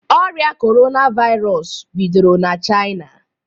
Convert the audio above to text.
Ọria kọrona virụs bidoro na China